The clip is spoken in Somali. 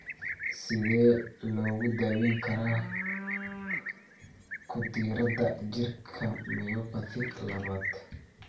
Sidee lagu daweyn karaa ku darida jirka myopathy labad?